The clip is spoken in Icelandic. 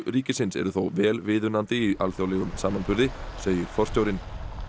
ríkisins eru þó vel viðunandi í alþjóðlegum samanburði segir forstjórinn